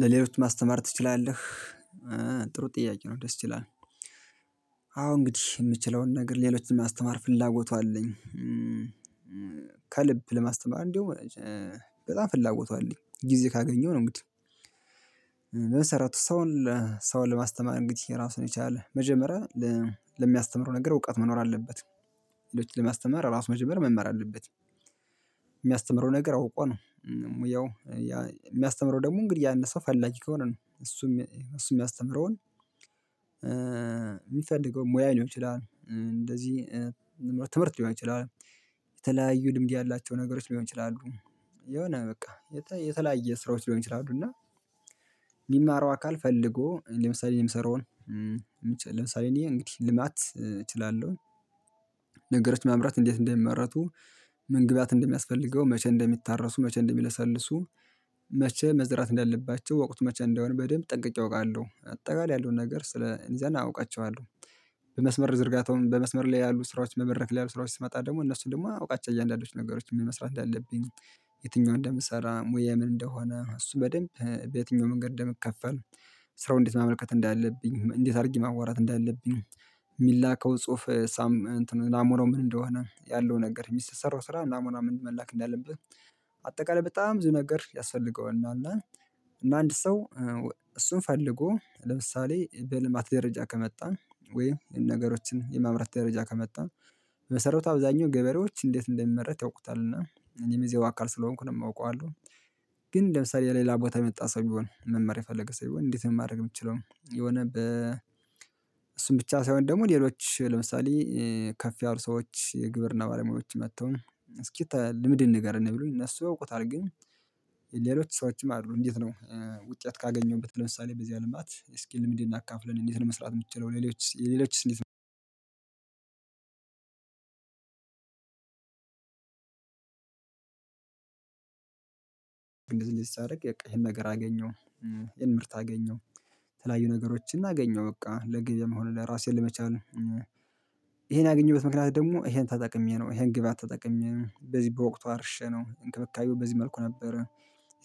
ለሌሎች ማስተማር ትችላለህ። ጥሩ ጥያቄ ነው ደስ ይላል። አዎ እንግዲህ የምችለውን ነገር ሌሎችን የሚያስተማር ፍላጎቱ አለኝ። ከልብ ለማስተማር እንዲሁ በጣም ፍላጎቱ አለኝ ጊዜ ካገኘሁ ነው። እንግዲህ። መሰረቱ ሰውን ለማስተማር እንግዲህ ራሱን የቻለ መጀመሪያ ለሚያስተምረው ነገር እውቀት መኖር አለበት። ሌሎችን ለሚያስተምር ራሱ መጀመሪያ መማር አለበት። የሚያስተምረው ነገር አውቆ ነው። ሙያው የሚያስተምረው ደግሞ እንግዲህ ያነሰው ፈላጊ ከሆነ ነው። እሱም እሱም የሚያስተምረውን የሚፈልገውን ሙያ ሊሆን እንደዚህ ይችላል ትምህርት ሊሆን ይችላል። የተለያዩ ልምድ ያላቸው ነገሮች ሊሆን ይችላሉ። የሆነ በቃ የተለያየ ስራዎች ሊሆን ይችላሉ። እና የሚማረው አካል ፈልጎ ለምሳሌ የምሰራውን ለምሳሌ እኔ እንግዲህ ልማት እችላለሁ። ነገሮች ማምራት እንዴት እንደሚመረቱ ምን ግብአት እንደሚያስፈልገው መቼ እንደሚታረሱ መቼ እንደሚለሰልሱ። መቼ መዝራት እንዳለባቸው ወቁት መቼ እንደሆነ በደንብ ጠንቅቄ አውቃለሁ አጠቃላይ ያለውን ነገር ስለ እዛን አውቃቸዋለሁ። በመስመር ዝርጋታውን በመስመር ላይ ያሉ ስራዎች መበረክ ላይ ያሉ ስራዎች ስመጣ ደግሞ እነሱን ደግሞ አውቃቸዋለው። የእያንዳንዱን ነገሮች ምን መስራት እንዳለብኝ። የትኛውን እንደምሰራ ሙያ ምን እንደሆነ እሱ በደንብ በየትኛው መንገድ እንደምከፈል። ስራው እንዴት ማመልከት እንዳለብኝ እንዴት አድርጌ ማወራት እንዳለብኝ። የሚላከው ጽሁፍ ሳም እንትን ናሙናው ምን እንደሆነ ያለው ነገር የሚሰራው ስራ ናሙና ምን መላክ እንዳለብህ። አጠቃላይ በጣም ብዙ ነገር ያስፈልገዋል። እና እና አንድ ሰው እሱን ፈልጎ ለምሳሌ በልማት ደረጃ ከመጣ ወይ ይሄን ነገሮችን የማምራት ደረጃ ከመጣ። በመሰረቱ አብዛኛው ገበሬዎች እንዴት እንደሚመረት ያውቁታል እና እኔም የዛ ው አካል አዋቃለሁ ስለሆንኩ ነው የማውቀው አሉ። ግን ለምሳሌ የሌላ ቦታ የመጣ ሰው ቢሆን መማር የፈለገ ሰው ቢሆን እንዴት ማድረግ የምትችለው የሆነ በ። እሱን ብቻ ሳይሆን ደግሞ ሌሎች ለምሳሌ። ከፍ ያሉ ሰዎች የግብርና ባለሙያዎች መጥተው እስኪ ልምድን ንገር ነው ብሎኝ እነሱ ያወቁታል ግን። ሌሎች ሰዎችም አሉ እንዴት ነው ውጤት ካገኘሁበት ለምሳሌ በዚህ አልማት ስኪል ልምድን አካፍለን እንዴት ለመስራት የምትችለው ሌሎች የሌሎች ስሜት እንደዚህ። እንደዚህ ሳረግ በቃ ይሄን ነገር አገኘው። የምርት አገኘው። ተለያዩ ነገሮችን እገኘው በቃ ለግብያ መሆኑ ለራሴን ለመቻል። ይሄን ያገኘሁበት ምክንያት ደግሞ ይሄን ተጠቅሜ ነው ይሄን ግብአት ጠቅሜ ነው በዚህ በወቅቱ አርሸ ነው እንክብካዩ በዚህ መልኩ ነበር።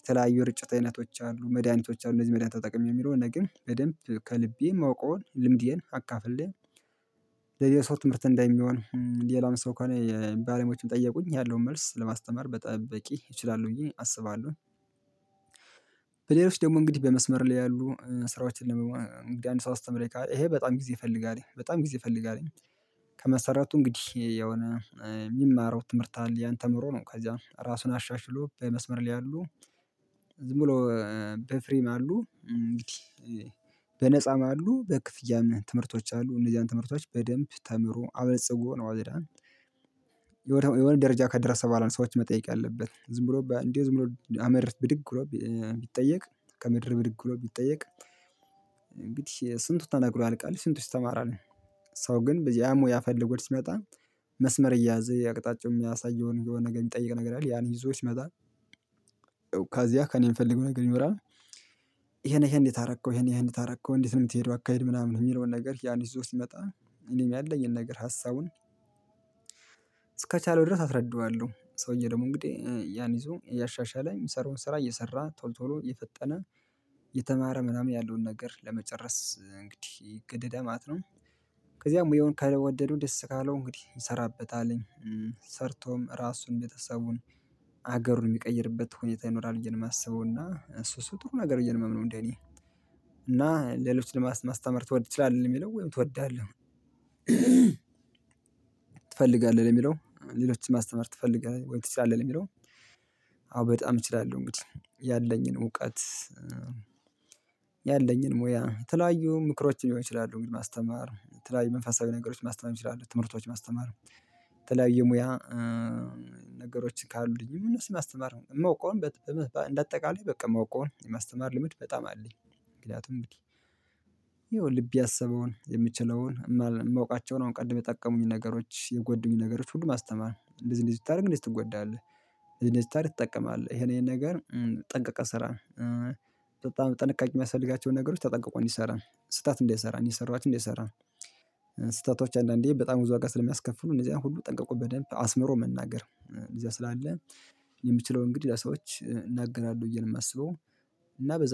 የተለያዩ እርጭት አይነቶች አሉ መድኃኒቶች አሉ እነዚህ መድሃኒት ተጠቅሜ የሚለው ነገር ግን በደንብ ከልቤ ማወቀውን ልምድዬን አካፍለው። ለሌላ ሰው ትምህርት እንደሚሆን ሌላም ሰው እኮ ነው የባሌሞችም ጠየቁኝ ያለውን መልስ ለማስተማር በጠበቂ ይችላል ብዬ አስባለሁ። በሌሎች ደግሞ እንግዲህ በመስመር ላይ ያሉ ስራዎችን ለመሞከር አንድ ሰው አስተምሬ ይሄ በጣም ጊዜ ይፍልጋል በጣም ጊዜ ይፍለጋል። ከመሰራቱ እንግዲህ የሆነ የሚማረው ትምህርት አለ ያንተ ምሮ ነው ከዛ ራሱን አሻሽሎ የመስመር ሊያሉ። ዝም ብሎ በፍሬም አሉ እንግዲህ። በነፃም አሉ በክፍያም ትምህርቶች አሉ እነዚያን ትምህርቶች በደንብ ተምሮ አበልጽጎ ነው አውደዳል። ደረጃ ከደረሰ በኃላ ነው ሰዎች መጠየቅ አለበት ዝም ብሎ እንዲህ ዝም ብሎ አመርተህ ብድግ ብሎ ቢጠየቅ። ከምድር ብድግ ብሎ ቢጠየቅ። እንግዲህ ስንቱ ተነግሮ ያልቃል ስንት ውስጥ ተማራለሁ። ሰው ግን በዚህ ያሞ ያፈልጎት ሲመጣ። መስመር እያዘ የአቅጣጫው የሚያሳየውን የሆነ ነገር የሚጠይቅ ነገር አለ ያን ይዞ ሲመጣ። ከዚያ ከእኔ የምፈልገው ነገር ይኖራል። ይሄን ይሄን እንዴት አረከው ይሄን ይሄን እንዴት አረከው እንዴት ነው የምትሄደው አካሄድ ምናምን የሚለውን ነገር ያን ይዞ ሲመጣ። እኔም ያለኝን ነገር ሀሳቡን። እስከቻለው ድረስ አስረዳዋለሁ ሰውዬ ደግሞ እንግዲህ ያን ይዞ እያሻሻለ ሚሰራውን ስራ እየሰራ ቶሎ ቶሎ እየፈጠነ። የተማረ ምናምን ያለውን ነገር ለመጨረስ እንግዲህ ይግደዳል ነው። ከዚያም ወይ የሆነ ከወደዱ ደስ ካለው እንግዲህ እንሰራበታለን። ሰርቶም ራሱን ቤተሰቡን ሀገሩን የሚቀይርበት ሁኔታ ይኖራል ብዬ ነው የማስበው። እና እሱ እሱ ጥሩ ነገር እንዴ ነው እንዴ እኔ። እና ሌሎች ለማስተማር ትወድ ትችላለህ የሚለው ወይም ትወዳለህ? ትፈልጋለህ ለሚለው ሌሎችን ማስተማር ትፈልጋለህ ወይ ትችላለህ የሚለው? አዎ በጣም እችላለሁ እንግዲህ ያለኝን እውቀት። ያለኝን ሙያ የተለያዩ ምክሮችን ሊሆን ይችላሉ እንግዲህ ማስተማር የተለያዩ መንፈሳዊ ነገሮች ማስተማም ይችላሉ ትምህርቶች ማስተማር። የተለያየ ሙያ። ነገሮች ካሉኝ ሁሉንም ማስተማር ማውቀውን በአጠቃላይ በቃ ማውቀውን የማስተማር ልምድ በጣም አለኝ። ምክንያቱም እንድህ። ይኸው ልብ ያሰበውን የምችለውን ማውቃቸውን አሁን ቀድም የጠቀሙኝ ነገሮች የጎዱኝ ነገሮች ሁሉ ማስተማር እንደዚህ እንደዚህ ታደርግ እንደዚህ ትጎዳለህ ይጠቀማል ይሄን ይሄን ነገር። ጠንቅቀህ ስራ። በጣም ጥንቃቄ የሚያስፈልጋቸውን ነገሮች ተጠንቅቆ እንዲሰራ ስህተት እንዳይሰራ እኔ የሠራሁትን ይሰራል። ስህተቶች አንዳንዴ በጣም ብዙ አጋስ ስለሚያስከፍሉ እነዚህ አይነት ሁሉ ጠንቀቁ በደንብ አስምሮ መናገር እዚያ ስላለ። የምችለው እንግዲህ ለሰዎች እናገናለሁ ብዬ ነው የማስበው። እና በዛ